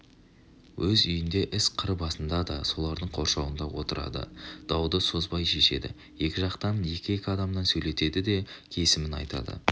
өз үйінде іс қыр басында да солардың қоршауында отырады дауды созбай шешеді екі жақтан екі-екі адамнан сөйлетеді де кесімін айтады